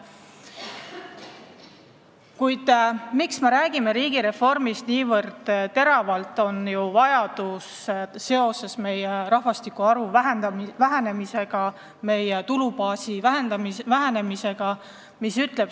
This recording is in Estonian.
Kuid põhjus, miks me räägime riigireformist nii intensiivselt, on selle vajadus seoses meie rahvastikuarvu vähenemisega, meie tulubaasi vähenemisega.